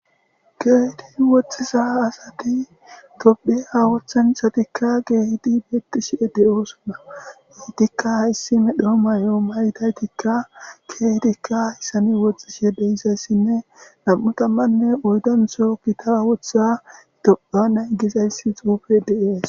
getin woxxisa asati dophi awathanthatikka geehidi beetti shie de7oosona geytikka hayssi medho may7o maytaytikka keetikka haysane woxxishhedeyizayssinne nam7utammanne oydantsho kita wotha topa nay gizayssi xuufe dees